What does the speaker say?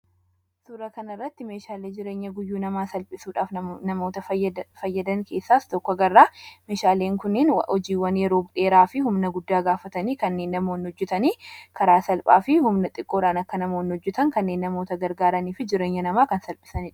Suura kanarratti meeshaalee jireenya guyyuu namaa salphisuudhaaf namoota fayyadan keessaas tokko garraa. Meeshaaleen kunneen hojiiwwan yeroo dheeraa fi humna guddaa gaafatanii kanneen namoon hojjetanii karaa salphaa fi humna xiqqoodhaan akka namoon hojjetan kanneen namoota gargaaraniif jireenya namaa kan salphisandha.